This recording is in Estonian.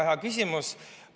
Väga hea küsimus.